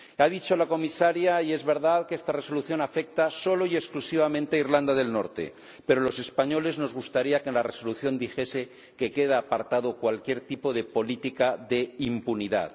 Ha dicho la Comisaria ―y es verdad― que esta resolución afecta única y exclusivamente a Irlanda del Norte, pero a los españoles nos gustaría que la propuesta de Resolución dijese que queda apartado cualquier tipo de política de impunidad.